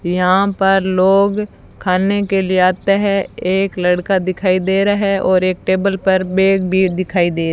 यहाँ पर लोग खाने के लिए आते हैं एक लड़का दिखाई दे रहा है और एक टेबल पर बैग भी दिखाई दे --